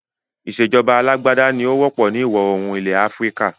Ìsèjọba alàgbàda ní ó wọ́pọ̀ ni ìwọ oòrùn ilẹ̀ Áfríkà